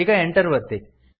ಈಗ Enter ಒತ್ತಿ